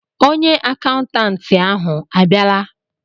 onye akaụntantị ahụ abịala?